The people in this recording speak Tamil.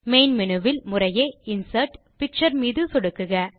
மெயின் மேனு வில் முறையே இன்சர்ட் பிக்சர் மீது சொடுக்குக